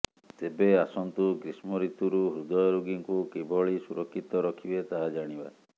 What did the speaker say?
ତେବେ ଆସନ୍ତୁ ଗ୍ରୀଷ୍ମଋତୁରୁ ହୃଦୟ ରୋଗୀଙ୍କୁ କିଭଳି ସୁରକ୍ଷିତ ରଖିବେ ତାହା ଜାଣିବା